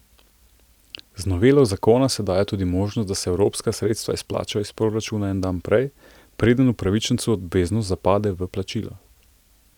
Z novelo zakona se daje tudi možnost, da se evropska sredstva izplačajo iz proračuna en dan prej, preden upravičencu obveznost zapade v plačilo.